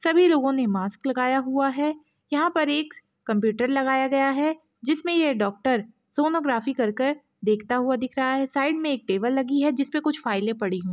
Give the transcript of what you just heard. सभी लोगो ने मास्क लगाया हुआ है यहाँ पर एक कंप्युटर लगाया गया है जिसमें ये डॉक्टर सोनोग्राफी कर कर देखता हुआ दिख रहा है साइड मे एक टेबल लगी है जिसपे कुछ फाइले पड़ी हुई।